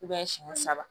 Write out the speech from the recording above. siɲɛ saba